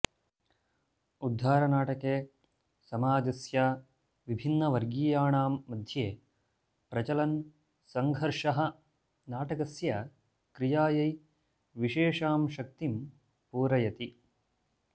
उद्धारनाटके समाजस्य विभिन्नवर्गीयाणां मध्ये प्रचलन् सङ्घर्षः नाटकस्य क्रियायै विशेषां शक्तिं पूरयति